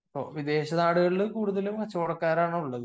വിദേശ നാടുകളിൽ കൂടുതലും കച്ചവടക്കാരാണ് ഉള്ളത്